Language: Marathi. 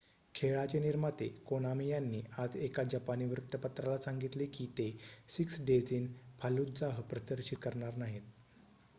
खेळाचे निर्माते कोनामी यांनी आज एका जपानी वृत्तपत्राला सांगितले की ते सिक्स डेज इन फाल्लुजाह प्रदर्शित करणार नाहीत